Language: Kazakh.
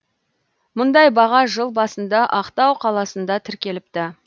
мұндай баға жыл басында ақтау қаласында тіркеліпті